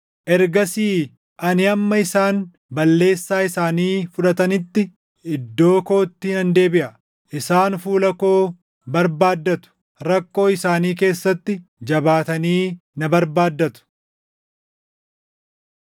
Ergasii ani hamma isaan balleessaa isaanii fudhatanitti iddoo kootti nan deebiʼa. Isaan fuula koo barbaaddatu; rakkoo isaanii keessatti jabaatanii na barbaaddatu.”